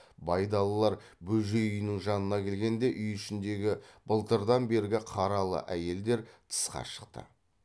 байдалылар бөжей үйінің жанына келгенде үй ішіндегі былтырдан бергі қаралы әйелдер тысқа шықты